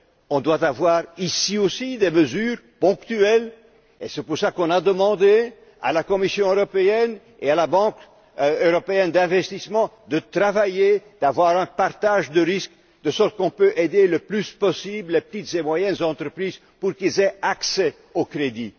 On doit avoir, ici aussi, des mesures ponctuelles, et c'est pour cela qu'on a demandé à la Commission européenne et à la Banque européenne d'investissement de travailler, d'avoir un partage de risques, de manière à pouvoir aider le plus possible les petites et moyennes entreprises afin qu'elles aient accès au crédit.